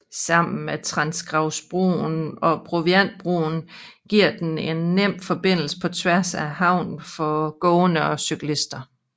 Sammen med Trangravsbroen og Proviantbroen giver den en nem forbindelse på tværs af havnen for gående og cyklister